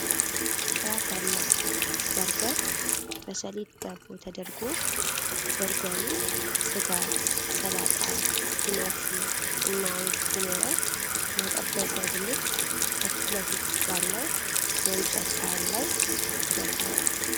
ጥራት ያለው በርገር በሰሊጥ ዳቦ ተደርጎዏል። በርገሩ ስጋ፣ ሰላጣ፣ ቲማቲም እና አይብ ሲኖረው፣ የተጠበሰ ድንች ከፊት ለፊት ባለው የእንጨት ሳህን ላይ ተደርድሯል።